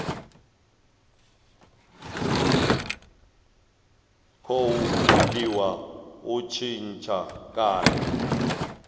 khou gudiwa u tshintsha kana